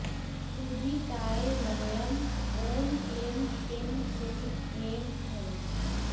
क्षुधिताय मह्यम् ॐ क्लीं श्री ह्रीं ऐं ॐ